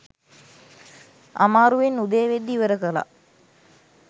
අමාරුවෙන් උදේ වෙද්දී ඉවර කළා